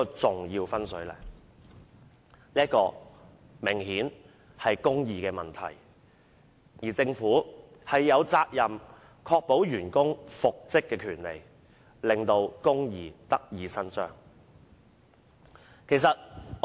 這明顯涉及公義問題。政府有責任確保員工復職的權利，令公義得以伸張。